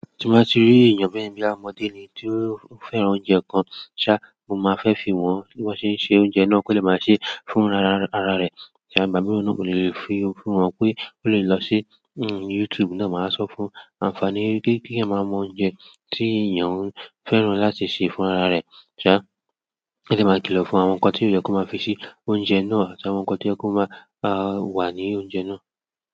Tí mo bá ti rí èèyàn bẹ́yẹn ní bí i ọmọdé ni tí ó fẹ́ran oúnjẹ kan ṣá, mo máa fẹ́ fi wọ́n bí wọ́n ṣe ń se oúnjẹ náà kí ó lè máa ṣe fún ara rẹ̀. Tí a bá mọ̀ ọ́n kò lè fi fún wọn pé ó lè lọ sí YouTube náà, màá sọ fún àǹfààní pé kí ẹ máa mọ oúnjẹ tí èèyàn fẹ́ràn láti ṣe fún ara rẹ̀ ṣá, kí ẹ dẹ máa kìlọ̀ fún àwọn nǹkan tí ó yẹ kó máa fi ṣe oúnjẹ náà àti àwọn nǹkan to yẹ kó máa wà ní oúnjẹ náà.